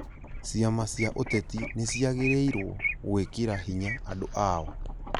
Ciama cia ũteti nĩciagĩrĩirwo gwĩkĩra hinya andũ ao